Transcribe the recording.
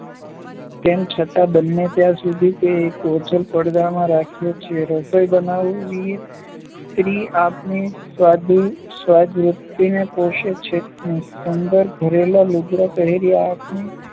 તેમ છતાં બને ત્યાં સુધી એને ઓઝલ પડદામાં રાખીએ છીએ. રસોઈ બનાવીને સ્ત્રી આપણી સ્વાદવૃત્તિ પોષે છે ને સુંદર ઘરેણાં-લૂગડાં પહેરી આપણી